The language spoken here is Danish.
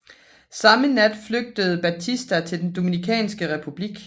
Samme nat flygtede Batista til den Dominikanske Republik